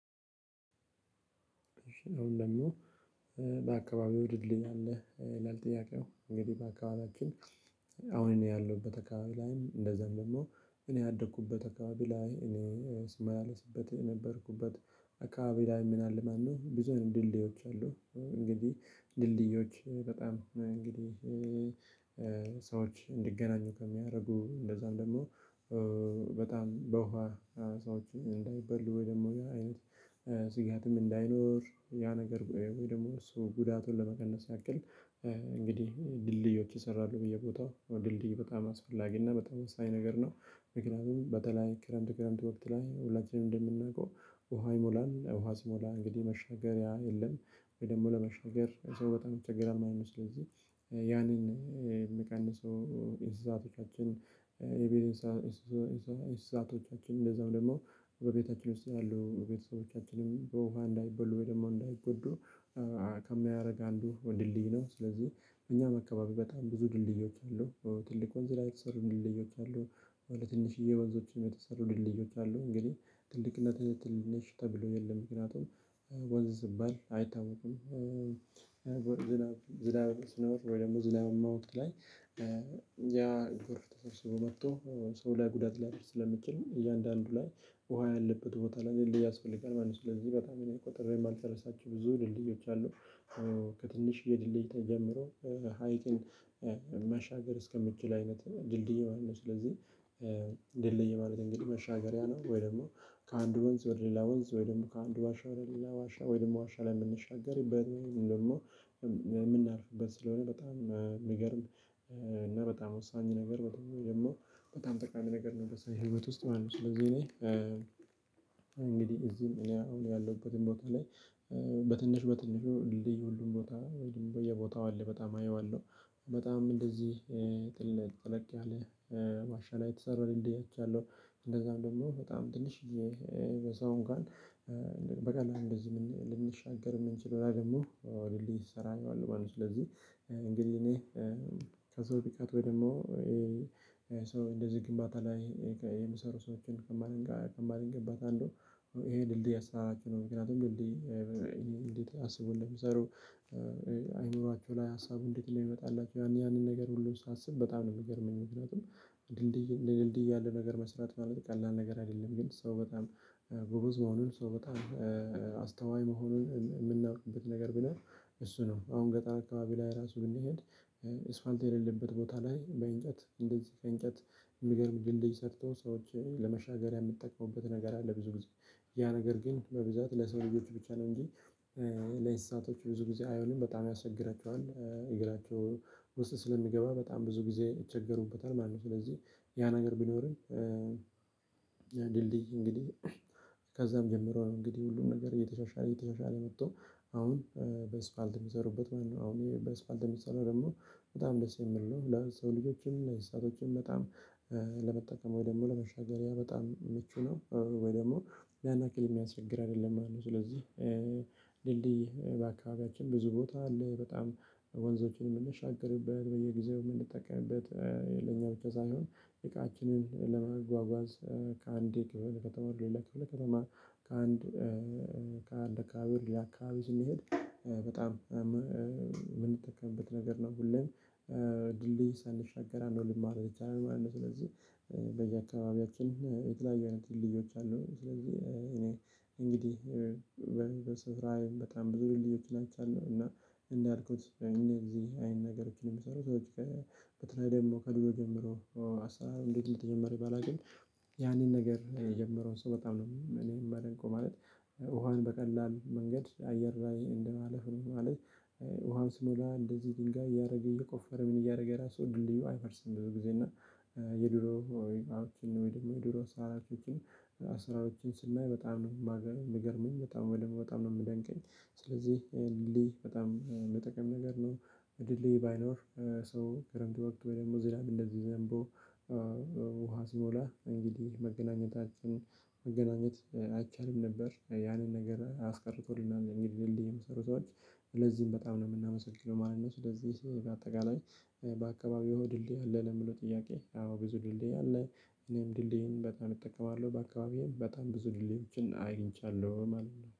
አሁን ደሞ በአካባቢው ይወድልኛል ይላል። ጥያቄው እንግዲህ በአካባቢያችን አሁን ነው ያለሁበት አካባቢ ላይም እንደዛም ደግሞ እኔ ያደኩበት አካባቢ ላይ እኔ ስመልስበት የነበርኩበት አካባቢ ላይ ምን አለ? ማነው ብዙም ድልድዮች አሉ። እንግዲህ ድልድዮች በጣም እንግዲህ ሰዎች እንዲገናኙ ከሚያደርጉ እንደዛም ደግሞ በጣም በውሃ ሀሳቦች እንዳይበሉ ወይ ደግሞ አይነት ስጋትም እንዳይኖር ያ ነገር ወይ ደግሞ እሱ ጉዳቱን ለመቀነስ ያክል። እንግዲህ ድልድዮች ይሰራሉ በየቦታው ድልድይ በጣም አስፈላጊ እና በጣም አስተያየት ነገር ነው። ምክንያቱም በተለይ ክረምት ክረምት ወቅት ላይ ሁላችንም እንደምናውቀው ውሃ ይሞላል ውሃ ሲሞላ እንግዲህ መሻገሪያ የለም ወይ ደግሞ ለመሻገር ሰው በጣም ይቸገራል ማለት ነው። ስለዚህ ያንን የሚቀንሰው የእንስሳቶቻችን የቤተሰቦቻችን የእንስሳቶቻችን እንደዛው ደግሞ በቤታችን ውስጥ ያለው ቤተሰቦቻችንም በውሃ እንዳይበሉ ወይ ደግሞ እንዳይጎዱ ከሚያደርግ አንዱ ወንድልድይ ነው። ስለዚህ እኛም አካባቢ በጣም ብዙ ድልድዮች አሉ ትልቅ ወንዝ ላይ የተሰሩ ድልድዮች አሉ። አሁን ለትንሽዬ ወንዞችም የተሰሩ ድልድዮች አሉ። እንግዲህ ትልቅነትህ ትንንሽ ተብሎ የለም ምክንያቱም ወንዝ ዝባል አይታወቁም። ዝናብ ስኖር ወይ ደግሞ ዝናባማ ወቅት ላይ ያ ጎረፍ ተሰብስበው መጥቶ ሰው ላይ ጉዳት ላይ ስለሚችል እያንዳንዱ ላይ ውሃ ያለበት ቦታ ላይ ድልድይ ያስፈልጋል ማለት ነው። ስለዚህ በጣም እኔ ቆጥሬ የማልጨርሳችሁ ብዙ ድልድዮች አሉ። ከትንሽ የድልድይታ ጀምሮ ሀይቅን መሻገር እስከምችል አይነት ድልድይ ማለት ነው። ስለዚህ ድልድይ ማለት እንግዲህ መሻገሪያ ነው። ወይ ደግሞ ከአንድ ወንዝ ወደ ሌላ ወንዝ ወይ ደግሞ ከአንድ ዋሻ ወደ ሌላ ዋሻ ወይ ደግሞ ዋሻ ላይ የምንሻገር ወይ ደግሞ የምናርፍበት ስለሆነ በጣም የሚገርም እና በጣም ወሳኝ ነገር በጣም ጠቃሚ ነገር ነው። የምትሰራው ህይወት ውስጥ ማለት ነው። ስለዚህ እኔ እንግዲህ እዚህም እኔ አሁን ያለሁበትን ቦታ ላይ በትንሽ በትንሹ ድልድይ ሁሉም ቦታ ወይም በየቦታው አለ በጣም አየዋለሁ። በጣም እንደዚህ ጥልቅ ጥልቅ ያለ ማሻሻል የተሰራልኝ እንደዚህ አደርጋለሁ። እንደዛም ደግሞ በጣም ትንሽዬ በሰው እንኳን በቀላሉ እንደዚህ ልንሻገር የምንችለው ደግሞ እኔ ስሰራኝ አለው ማለት ነው። ስለዚህ እንግዲህ እኔ ከሰው ቢቃጥም ወይ ደግሞ ሰው እንደዚህ ግንባታ ላይ የሚሰሩ ሰዎችን ከማደንቃ ከማደንቃ አንዱ ይሄ ድልድይ አስራ አራት ነው። ምክንያቱም ድልድይ እንዴት አስቡልኝ የምሰሩ ሰሩ አይምሯቸው ላይ ሀሳቡ እንዴት ነው የሚመጣላቸው ያን ያንን ነገር ሁሉ ሳስብ በጣም ነው የሚገርመኝ። ምክንያቱም ድልድይ እንደ ድልድይ ያለ ነገር መስራት ማለት ቀላል ነገር አይደለም። ግን ሰው በጣም ጎበዝ መሆኑን ሰው በጣም አስተዋይ መሆኑን የምናውቅበት ነገር ብኖር እሱ ነው። አሁን ገጣር አካባቢ ላይ ራሱን እንሂድ እስፋልት የሌለበት ቦታ ላይ በእንጨት እንደዚህ ከእንጨት የሚገርም ድልድይ ሰርቶ ሰዎች ለመሻገር የምትጠቅመውበት ነገር አለ። ብዙ ጊዜ ያ ነገር ግን በብዛት ለሰው ልጆች ብቻ ነው እንጂ ለኢንስሳቶች ብዙ ጊዜ አይሆንም በጣም ያስቸግራቸዋል እግራቸው ውስጥ ስለሚገባ በጣም ብዙ ጊዜ ይቸገሩበታል ማለት ነው። ስለዚህ ያ ነገር ቢኖርም ድልድይ እንግዲህ ከዛም ጀምሮ ነው እንግዲህ ሁሉም ነገር እየተሻሻለ እየተሻሻለ የመጣው። አሁን በስፋልት የሚሰሩበት ማለት ነው። አሁን በስፋልት የሚሰሩ ደግሞ በጣም ደስ የምልህ ነው። ለሰው ልጆችም እና የሰአቶችም በጣም ለመጠቀም ወይ ደግሞ ለመሻገሪያ በጣም ምቹ ነው። ወይ ደግሞ ያን ያክል የሚያስቸግር አይደለም ማለት ነው። ስለዚህ ድልድይ በአካባቢያችን ብዙ ቦታ አለ በጣም ወንዞችን የምንሻገርበት በየጊዜው የምንጠቀምበት ለኛ ብቻ ሳይሆን የቃችንን ለመጓጓዝ ከአንዴ ከተማ ከተማ ከተማ ከአንድ ከአንድ ከአካባቢ ሌላ አከባቢ ስንሄድ በጣም የምንጠቀምበት ነገር ነው። ሁሌም ድልድይ ሳንሻገራ አንደው ልማር ይቻላል ማለት ነው። ስለዚህ በየአካባቢያችን የትለያዪ አይነት ልዩዎች አሉ። ስለዚህ እኔ እንግዲህ በጣም ብዙ ልዩነቶች አለው። እና እንዳልኩት እኔ ጊዜ እዚህ አይን ነገር እኮ ነው የሚሰሩት ሰዎች በትናንት ደግሞ ከዱሎ ጀምሮ አስራ አራት ለተጀመረ ባለ ግን ያኔን ነገር የጀመረውን ሰው በጣም ነው እኔም የማደንቀው። ማለት ውሃውን በቀላል መንገድ አየር ላይ እንደማለፍ ነው ማለት። ውሃን ስሞላ እንደዚህ ድንጋይ እያደረገ እየቆፈረ ምን እያደረገ የራሱ ድልድዩ አይፈርስም? ብዙ ጊዜ እና። የድሮ ወይም አውትን ወይም የድሮ ሳራፊችን ስራዎችን ስናይ በጣም ነው የምገርመኝ በጣም ወደኋላ በጣም ነው የምደንቀኝ። ስለዚህ ሊ በጣም መጠቀም ነገር ነው። ድል ሊ ባይኖር። ሰው ከረምድ ወቅት በደንብ ወደ ዚህ ላይ እንደዚህ ዘንቦ ውሃ ሲሞላ እንግዲህ መገናኘታችን መገናኘት አይቻልም ነበር። ያንን ነገር አስቀርቶልናል እንግዲህ የምሰሩት ሰዎች ለዚህም በጣም ነው የምናመሰግነው ማለት ነው። ስለዚህ በአጠቃላይ በአካባቢው የሆድልህ የለም የምለው ጥያቄ አዎ ብዙ ድልድይ አለ? እኔም ድልድይን በጣም እጠቀማለሁ በአካባቢዬም በጣም ብዙ ድልድዮችን አገኝቻለሁም አሉና